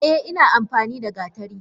Eh ina amfanida gatari.